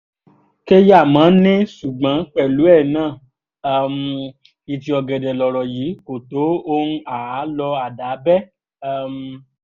kẹ́yàmọ́ ní ṣùgbọ́n pẹ̀lú ẹ̀ náà um ìtì ọ̀gẹ̀dẹ̀ lọ̀rọ̀ yìí kò tó ohùn àá lọ àdá bẹ́ um